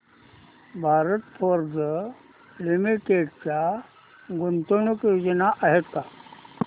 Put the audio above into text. Bharat Forge Limited च्या गुंतवणूक योजना आहेत का